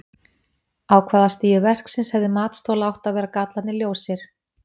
Á hvaða stigi verksins hefði matsþola átt að vera gallarnir ljósir?